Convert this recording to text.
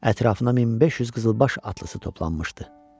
Ətrafına 1500 qızılbaş atlısı toplanmışdı.